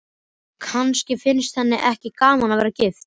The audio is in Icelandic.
Kannski finnst henni ekki gaman að vera gift.